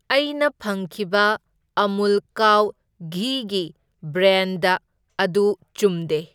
ꯑꯩꯅ ꯐꯪꯈꯤꯕ ꯑꯃꯨꯜ ꯀꯥꯎ ꯘꯤꯒꯤ ꯕ꯭ꯔꯦꯟꯗ ꯑꯗꯨ ꯆꯨꯝꯗꯦ꯫